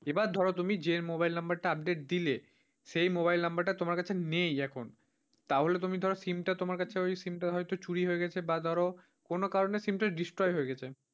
এবার ধরো তুমি যে mobile number টা update দিলে সেই মোবাইল নাম্বারটা তোমার কাছে নেই এখ তাহলে তুমি ধরো সিমটা তোমার কাছে ওই SIM টা হয়তো চুরি হয়ে গেছে বা ধরো কোন কারনে কিন্তু destroy হয়ে গেছে।